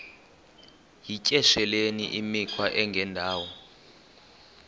yityesheleni imikhwa engendawo